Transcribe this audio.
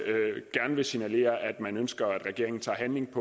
gerne signalere at man ønsker at regeringen tager handling